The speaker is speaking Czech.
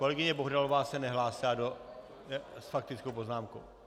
Kolegyně Bohdalová se nehlásila s faktickou poznámkou?